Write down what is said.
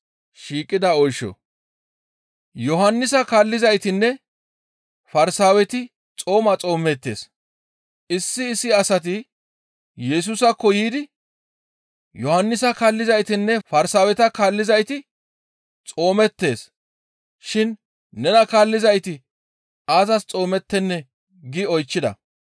Yohannisa kaallizaytinne Farsaaweti xooma xoomeettes. Issi issi asati Yesusaakko yiidi, «Yohannisa kaallizaytinne Farsaaweta kaallizayti xoomeettes shin nena kaallizayti aazas xoomettennee?» gi oychchida.